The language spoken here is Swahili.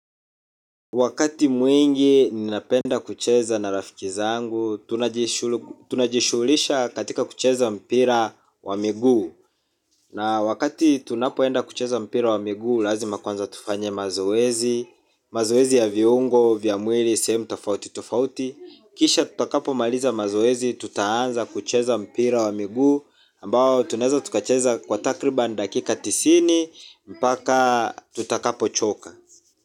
Wakati mwingi ninapenda kucheza na rafiki zangu, tunajishuhulisha katika kucheza mpira wa miguu. Na wakati tunapoenda kucheza mpira wa miguu, lazima kwanza tufanye mazoezi, mazoezi ya viungo, vya mwili, sehemu tofauti tofauti. Kisha tutakapomaliza mazoezi, tutaanza kucheza mpira wa miguu, ambao tunaeza tukacheza kwa takriban dakika tisini, mpaka tutakapochoka.